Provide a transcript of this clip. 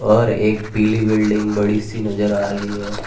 और एक पीली बिल्डिंग बड़ी सी नजर आ रही है।